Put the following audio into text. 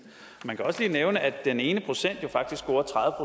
man kan også lige nævne at den ene procent jo faktisk scorer tredive